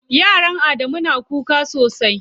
Yaron Adamu na da kuka sosai.